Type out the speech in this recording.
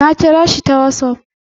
Na kira shi ta wassaf